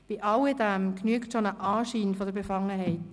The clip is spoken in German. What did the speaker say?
Dabei genügt schon der Anschein von Befangenheit.